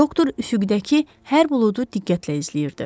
Doktor üfüqdəki hər buludu diqqətlə izləyirdi.